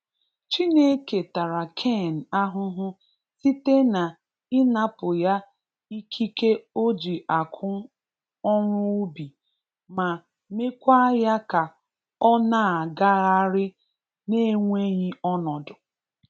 Chineke tara Cain ahụhụ site na ị napụ ya ikike o ji akụ ọrụ ubi ma mekwaa ya ka ọ na-agagharị na-enweghi ọnọdụ.